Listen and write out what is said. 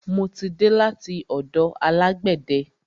Mo ti dé láti ọ̀dọ̀ alágbẹ̀de.